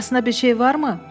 Arasına bir şey varmı?